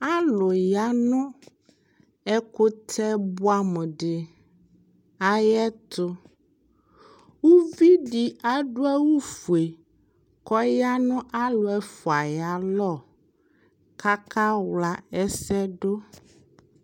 Alʋ ya nʋ ɛkʋtɛ bʋɛ amʋdɩ ayɛtʋ Uvidi adʋ awʋ fue kɔ ya nʋ alʋ ɛfua'yalɔ k'akawla ɛsɛdʋ